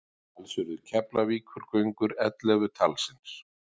Alls urðu Keflavíkurgöngur ellefu talsins.